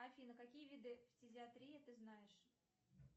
афина какие виды фтизиатрии ты знаешь